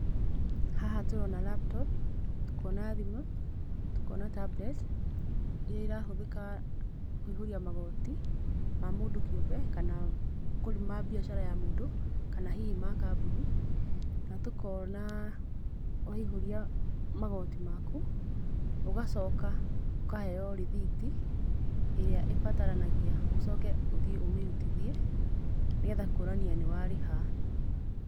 Haha tũrona laptop, tũkona thimũ, tũkona tablet, iria irahũthĩka, kũihũria magoti, ma mũndũ kĩũmbe, kana, kũrĩ ma mbiacara ya mũndũ, kana hihi ma kambuni, na tũkona, waihũria magoti maku, ũgacoka, ũkaheo rĩthiti, ĩrĩa ĩbataranagia ũcoke ũthiĩ ũmĩrutithie, nĩgetha kuonania nĩwarĩha.